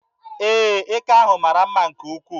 Ee, eke ahụ mara mma nke ukwuu.